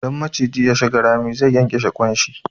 Idan maciji ya shiga rami, zai ƙyanƙyashe ƙwan shi.